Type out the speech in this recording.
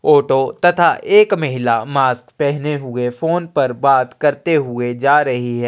Auto तथा एक महिला मास्क पहने हुए फ़ोन पर बात करते हुए जा रही है।